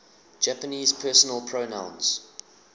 japanese personal pronouns